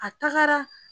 A tagara